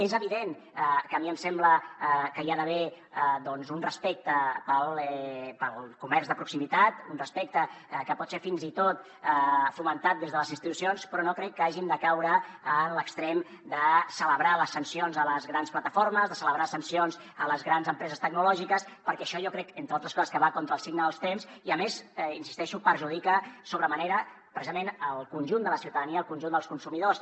és evident que a mi em sembla que hi ha d’haver doncs un respecte pel comerç de proximitat un respecte que pot ser fins i tot fomentat des de les institucions però no crec que hàgim de caure en l’extrem de celebrar les sancions a les grans plataformes de celebrar sancions a les grans empreses tecnològiques perquè això jo crec entre altres coses que va contra el signe dels temps i a més hi insisteixo perjudica sobre manera precisament el conjunt de la ciutadania el conjunt dels consumidors